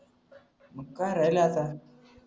मंग काय राहिलाय आता